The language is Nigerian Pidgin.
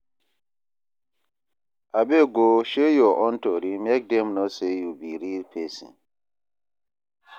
Abeg o, share your own story, make dem know sey you be real pesin.